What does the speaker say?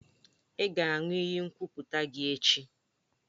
Ị ga-aṅụ iyi nkwuputa gị echi!